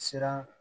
Siran